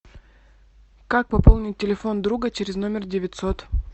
как пополнить телефон друга через номер девятьсот